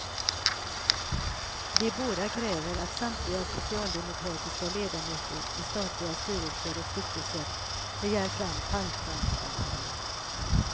De båda kräver att samtliga socialdemokratiska ledamöter i statliga styrelser och stiftelser begär fram fallskärmsavtalen.